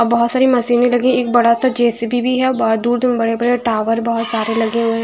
और बहुत सारी मशीनें लगी एक बड़ा सा जे_ सी_ बी भी है औ ब दूर दूर में बड़े बड़े टावर बहुत सारे लगे हुए हैं।